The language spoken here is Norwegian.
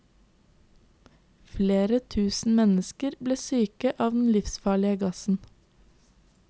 Flere tusen mennesker ble syke av den livsfarlige gassen.